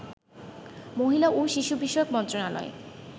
মহিলা ও শিশু বিষয়ক মন্ত্রণালয়